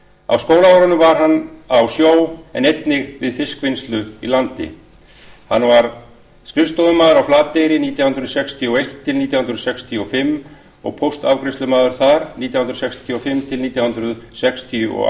á skólaárunum var hann á sjó en einnig við fiskvinnslu í landi hann var skrifstofumaður á flateyri nítján hundruð sextíu og eitt til nítján hundruð sextíu og fimm og póstafgreiðslumaður þar nítján hundruð sextíu og fimm til nítján hundruð sextíu og